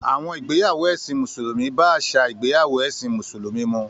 Àwọn ìgbéyàwó ẹ̀sìn Mùsùlùmí bá àṣà ìgbéyàwó ẹ̀sìn Mùsùlùmí mu.